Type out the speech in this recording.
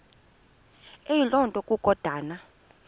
eyiloo nto kukodana